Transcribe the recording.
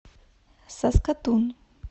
саскатун